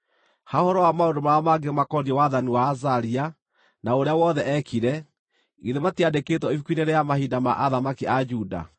Ha ũhoro wa maũndũ marĩa mangĩ makoniĩ wathani wa Azaria, na ũrĩa wothe eekire, githĩ matiandĩkĩtwo ibuku-inĩ rĩa mahinda ma athamaki a Juda?